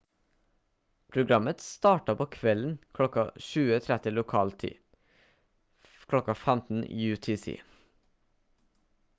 programmet starta på kvelden klokka 20:30 lokal tid 15:00 utc